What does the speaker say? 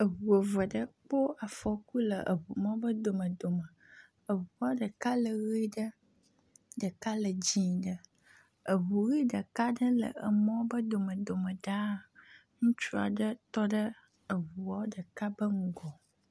Eŋu eve ɖewo kpɔ afɔku le emɔ ƒe domedome. Eŋua ɖeka le ʋe ɖe, ɖeka le dzɛ ɖe. Eŋu ʋi ɖeka le emɔ ƒe domedome ɖaa. Ŋutsu aɖe tɔ ɖe eŋua ɖeka ƒe ŋgɔ.